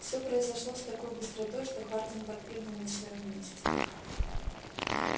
всё произошло с такой быстротой что хардин подпрыгнул на своём месте